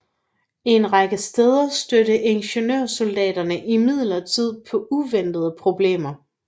En række steder stødte ingeniørsoldaterne imidlertid på uventede problemer